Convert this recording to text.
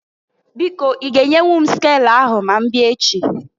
Biko i ga enyenwu m skelu ahụ ma mbịa echi?